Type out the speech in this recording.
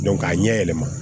k'a ɲɛ yɛlɛma